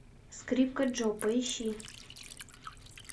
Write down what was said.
скрипка джо поищи